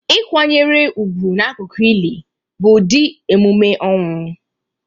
Ịkwanyere ugwu n'akụkụ ili bụ ụdị emume ọnwụ